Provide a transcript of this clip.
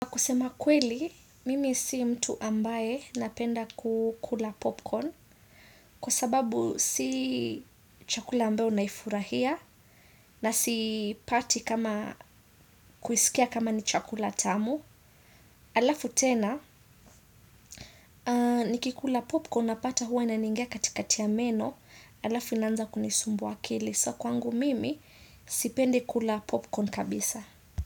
Kusema kweli, mimi si mtu ambaye napenda kukula popcorn kwa sababu si chakula ambayo naifurahia na sipati kama kuisikia kama ni chakula tamu. Alafu tena, nikikula popcorn napata huwa inaningia katikati ya meno, alafu inaanza kunisumbuwa akili. So kwangu mimi sipendi kula popcorn kabisa.